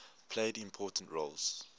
played important roles